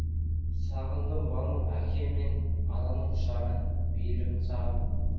сағындым бану әке мен ананың құшағын мейірімін сағындым